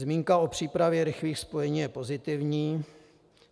Zmínka o přípravě rychlých spojení je pozitivní.